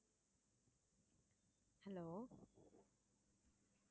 hello